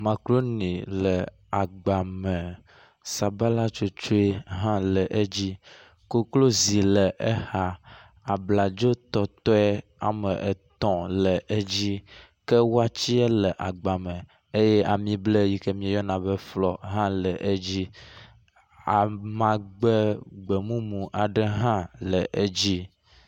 Makɖoni le agba me, sabala tsotoe hã le edzi, koklozi le exa, abladzotɔtɔe wɔme etɔ̃ le edzi ke watsɛ le agba me eye ami ble yike míeyɔna be flɔ hã le edzi. Amagbe gbemumu aɖe hã le edzi.